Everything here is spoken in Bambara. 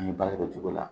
An ye balo kɛ o cogo la